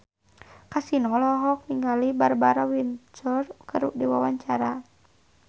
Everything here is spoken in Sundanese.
Kasino olohok ningali Barbara Windsor keur diwawancara